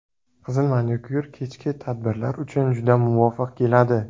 Qizil manikyur kechki tadbirlar uchun juda muvofiq keladi.